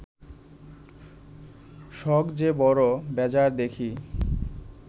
সখ যে বড় বেজায় দেখি